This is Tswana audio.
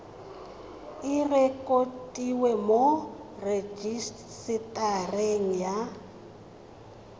e rekotiwe mo rejisetareng ya